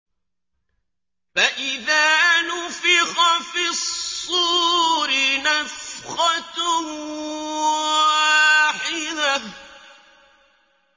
فَإِذَا نُفِخَ فِي الصُّورِ نَفْخَةٌ وَاحِدَةٌ